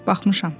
Baxmışam.